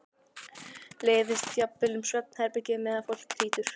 Læðist jafnvel um svefnherbergin meðan fólk hrýtur.